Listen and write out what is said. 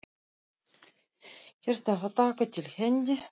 Hér þarf að taka til hendi.